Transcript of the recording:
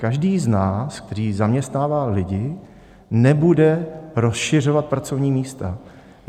Každý z nás, který zaměstnává lidi, nebude rozšiřovat pracovní místa.